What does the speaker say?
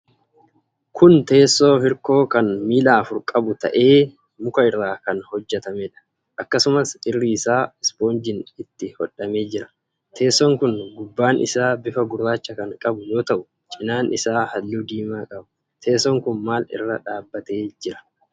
Kun teessoo hirkoo kan miila afur qabu ta'ee, muka irraa kan hojjatameedha. Akkasumas irri isaa ispoonjiin itti hodhamee jira. Teessoon kun gubbaan isaa bifa gurraacha kan qabu yoo ta'u cinaan isaa halluu diimaa qaba. Teessoon kun maal irra dhaabatee jira?